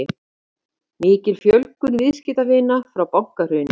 Mikil fjölgun viðskiptavina frá bankahruni